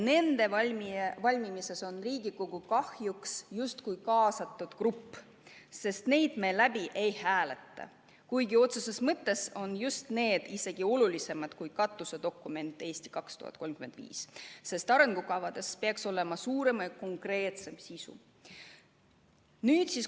Nende valmimisel on Riigikogu kahjuks justkui kaasatud grupp, sest neid me läbi ei hääleta, kuigi need on isegi olulisemad kui katusdokument "Eesti 2035", sest arengukavadel peaks olema suurem ja konkreetsem sisu.